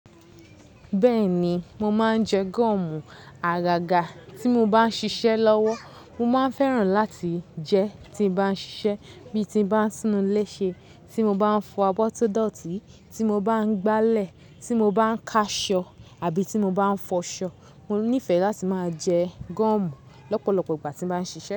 Bẹ́ẹ̀ ni, mo máa ń jẹ gọ́ọ̀mù. Agaga tí mo bá ń ṣiṣẹ́ lọ́wọ́, mo máa ń fẹ́ràn láti jẹ́ tí bá ń ṣiṣẹ́, bí ti bá ń túnúú lẹ́sẹ̀, tí mo bá ń fọ abọ́ tó dọ̀tí, tí mo bá ń gbálẹ̀, tí mo bá ń ká aṣọ àbí tí mo n bá ń fọ aṣọ. Mo nífẹ̀ẹ́ láti máa jẹ gọ́ọ̀mù lọ́pọ̀lọpọ̀ ìgbà tí mo bá ń ṣiṣẹ́